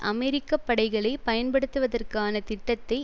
அமெரிக்க படைகளை பயன்படுத்துவதற்கான திட்டத்தை